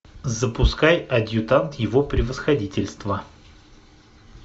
запускай адъютант его превосходительства